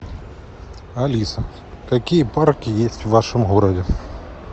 алиса какие парки есть в вашем городе